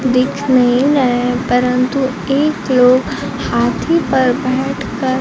दिख नहीं रहे परंतु एक लोग हाथी पर बैठकर--